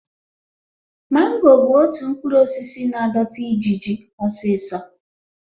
Mango bụ otu mkpụrụ osisi na-adọta ijiji osiso